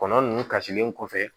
Kɔnɔ nunnu kasilen kɔfɛ